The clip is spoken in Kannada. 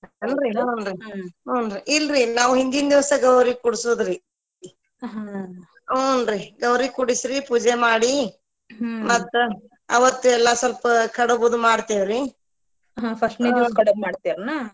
ಇಲ್ರಿ ನಾವ ಹಿಂದಿಂದ ದಿವಸ ಗೌರಿ ಕುಡಸೋದ್ರಿ ಹುಂನ್ರಿ ಗೌರಿ ಕೂಡಸಿ ಪೂಜೆ ಮಾಡಿ ಮತ್ತ ಆವತ್ತ ಎಲ್ಲಾ ಸ್ವಲ್ಪ ಕಡಬದು ಮಾಡ್ತೇವ್ರಿ .